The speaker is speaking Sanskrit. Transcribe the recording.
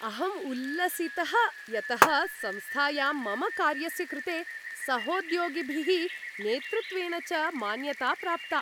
अहम् उल्लसितः यतः संस्थायां मम कार्यस्य कृते सहोद्योगिभिः, नेतृत्वेन च मान्यता प्राप्ता।